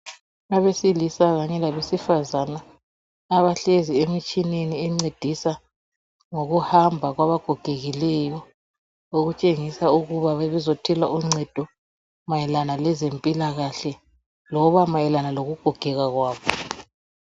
Abesilisa Kanye labesifazana abahlezi emitshineni encedisa ngokuhamba kwabagogekileyo okutshengisa ukuthi bebezofuna uncedo mayelana lezempilakahle loba mayelana lokugogeka kwabo.